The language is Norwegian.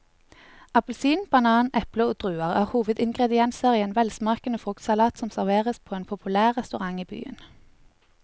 Appelsin, banan, eple og druer er hovedingredienser i en velsmakende fruktsalat som serveres på en populær restaurant i byen.